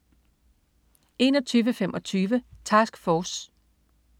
21.25 Task Force